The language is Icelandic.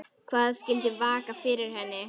Hvað skyldi vaka fyrir henni?